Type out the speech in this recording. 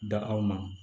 Da aw ma